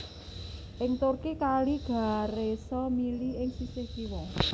Ing Turki Kali Ghareso mili ing sisih kiwa